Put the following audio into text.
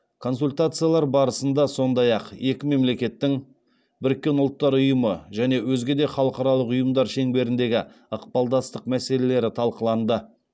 консультациялар барысында сондай ақ екі мемлекеттің біріккен ұлттар ұйымы және өзге де халықаралық ұйымдар шеңберіндегі ықпалдастық мәселелері талқыланды